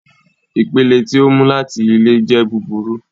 Ipele ti o mu lati ile jẹ buburu